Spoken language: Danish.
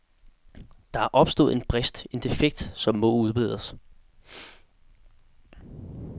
Der er opstået en brist, en defekt, som må udbedres.